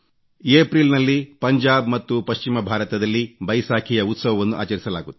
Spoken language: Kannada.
ಏಪ್ರಿಲ್ ನಲ್ಲಿ ಪಂಜಾಬ್ ಮತ್ತು ಪಶ್ಚಿಮ ಭಾರತದಲ್ಲಿ ಬೈಸಾಖಿಯ ಉತ್ಸವವನ್ನು ಆಚರಿಸಲಾಗುತ್ತದೆ